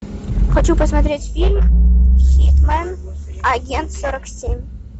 хочу посмотреть фильм хитмэн агент сорок семь